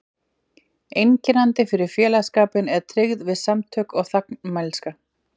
Einkennandi fyrir félagsskapinn er tryggð við samtökin og þagmælska.